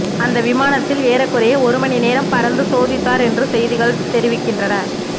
அந்த விமானத்தில் ஏறக்குறைய ஒருமணி நேரம் பறந்து சோதித்தார் என்று செய்திகள் தெரிவிக்கின்றன